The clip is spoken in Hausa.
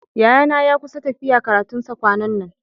Yayana ya kusa tafiya karatun sa kwanan nan.